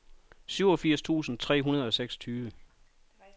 syvogfirs tusind tre hundrede og seksogtyve